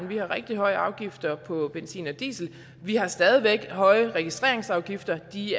vi har rigtig høje afgifter på benzin og diesel og vi har stadig væk høje registreringsafgifter de